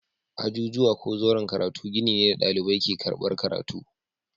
Ajujuwa ko zauren karatu gini ne da ɗalibai ke karɓar karatu.